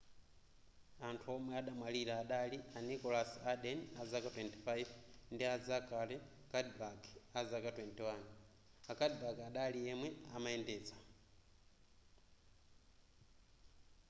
anthu omwe adamwalira adali a nicholas alden azaka 25 ndi a zachary cuddeback azaka 21 a cuddeback adali yemwe amayendetsa